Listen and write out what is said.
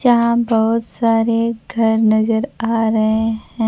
जहां बहुत सारे घर नजर आ रहे हैं।